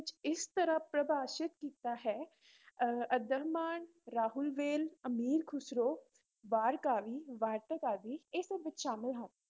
ਇਸ ਤਰ੍ਹਾਂ ਪਰਿਭਾਸ਼ਿਤ ਕੀਤਾ ਹੈ ਅਹ ਅੱਦਹਮਾਣ, ਰਾਉਲਵੇਲ, ਅਮੀਰ ਖੁਸਰੋ, ਵਾਰ ਕਾਵਿ, ਵਾਰਤਕ ਆਦਿ ਇਹ ਸਭ ਵਿੱਚ ਸ਼ਾਮਿਲ ਹਨ।